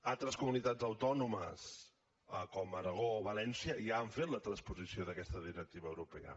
altres comunitats autònomes com l’aragó o valència ja han fet la transposició d’aquesta directiva europea